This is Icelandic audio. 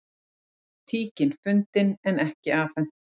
Tíkin fundin en ekki afhent